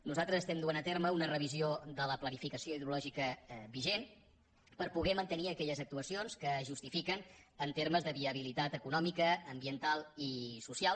nosaltres duem a terme una revisió de la planificació hidrològica vigent per poder mantenir aquelles actuacions que es justifiquen en termes de viabilitat econòmica ambiental i social